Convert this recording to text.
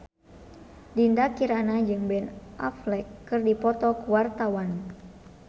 Dinda Kirana jeung Ben Affleck keur dipoto ku wartawan